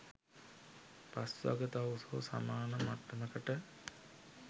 පස්වග තවුසෝ සමාන මට්ටමකට